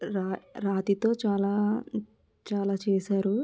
ర రాతితో చాలా చాలా చేశారు.